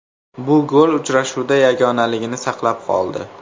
Bu gol uchrashuvda yagonaligini saqlab qoldi.